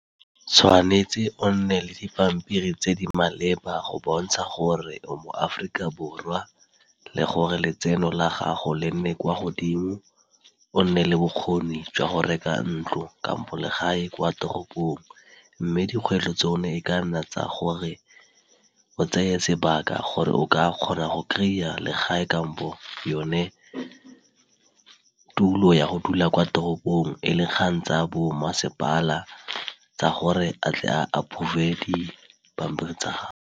Tshwanetse o nne le dipampiri tse di maleba go bontsha gore o moAforika Borwa le gore letseno la gago le nne kwa godimo o nne le bokgoni jwa go reka ntlo kampo le gae kwa toropong. Mme dikgwetlho tsone e ka nna tsa gore o tseye sebaka gore o ka kgona go kry-a le gae kampo yone tulo ya go dula kwa toropong e le kgang tsa bo masepala tsa gore a tle a approve di pampiri tsa gago.